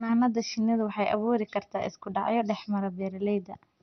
Xannaanada shinnidu waxay abuuri kartaa isku dhacyo dhexmara beeralayda.